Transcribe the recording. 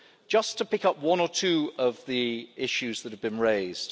Just to pick up one or two of the issues that have been raised.